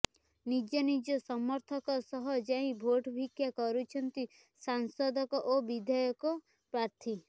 ନିଜ ନିଜ ସମର୍ଥକଙ୍କ ସହ ଯାଇ ଭୋଟ ଭିକ୍ଷା କରୁଛନ୍ତି ସାଂସଦ ଓ ବିଧାୟକ ପ୍ରାର୍ଥୀ